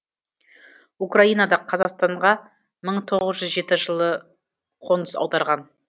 украинадан қазақстанға мың тоғыз жүз жеті жылы қоныс аударған